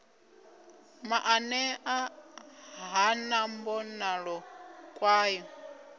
maanea ha na mbonalo kwayo